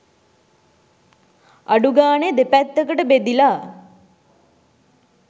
අඩු ගානේ දෙපැත්තකට බෙදිලා